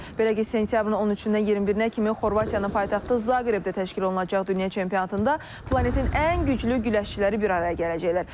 Belə ki, sentyabrın 13-dən 21-nə kimi Xorvatiyanın paytaxtı Zaqrebdə təşkil olunacaq dünya çempionatında planetin ən güclü güləşçiləri bir araya gələcəklər.